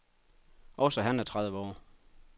Også han er tredive år.